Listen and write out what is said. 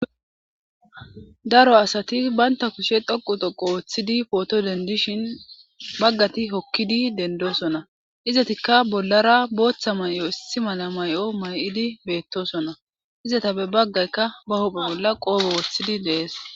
daro asati baynta kushe dhoqu dhhoqo woththidi pooto dendishin baggati hokkidi dendosona izatikka bollara booththa may'o issi mala may'o may'idi beettosona izata be baggaykka ba hopphe bolla qoobo wooththidi de'ees